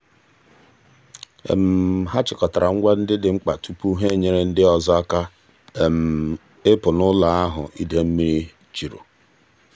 ha chịkọtara ngwa ndị dị mkpa tupu ha enyere ndị ọzọ aka ịpụ n'ụlọ ahụ idei mmiri juru.